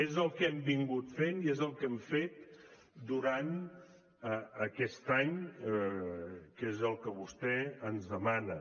és el que hem estat fent i és el que hem fet durant aquest any que és el que vostè ens demana